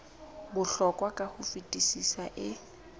bohlokwa ka ho fetisisa e